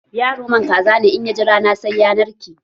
Yaro man kaza ne, in ya ji rana, sai ya narke.